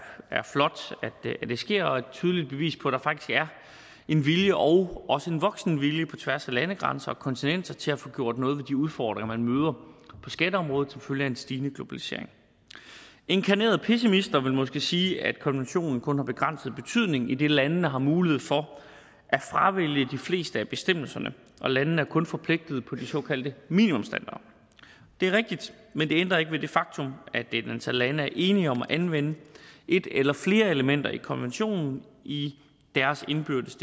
er flot at det sker og er et tydeligt bevis på at der faktisk er en vilje og også en voksende vilje på tværs af landegrænser og kontinenter til at få gjort noget ved de udfordringer man møder på skatteområdet som følge af en stigende globalisering inkarnerede pessimister vil måske sige at konventionen kun har begrænset betydning idet landene har mulighed for at fravælge de fleste af bestemmelserne landene er kun forpligtet på de såkaldte minimumsstandarder det er rigtigt men det ændrer ikke ved det faktum at et antal lande er enige om at anvende et eller flere elementer i konventionen i deres indbyrdes